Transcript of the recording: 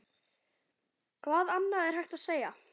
Hvað annað er hægt að segja?